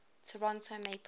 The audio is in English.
toronto maple leafs